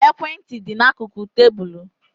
Ekwe ntị dị n'akụkụ tébulu